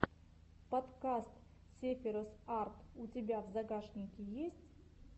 подкаст сефирос арт у тебя в загашнике есть